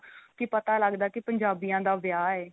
ਕੀ ਪਤਾ ਲੱਗਦਾ ਕੀ ਪੰਜਾਬੀਆਂ ਦਾ ਵਿਆਹ ਏ